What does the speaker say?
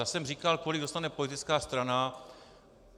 Já jsem říkal, kolik dostane politická strana.